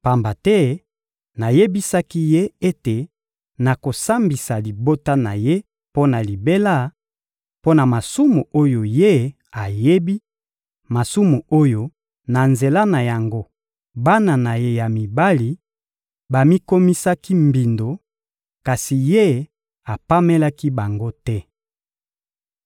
Pamba te nayebisaki ye ete nakosambisa libota na ye mpo na libela, mpo na masumu oyo ye ayebi, masumu oyo na nzela na yango bana na ye ya mibali bamikomisaki mbindo, kasi ye apamelaki bango te.